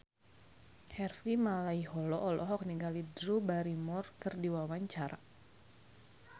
Harvey Malaiholo olohok ningali Drew Barrymore keur diwawancara